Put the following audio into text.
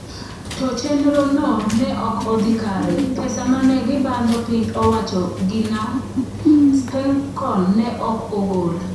To chenrono ne ok odhi kare - pesa mane gibandho piny owacho gi na Spencon ne ok ogol.